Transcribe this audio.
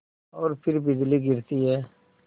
और फिर बिजली गिरती है